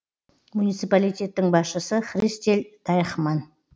муниципалитеттің басшысы христель дайхман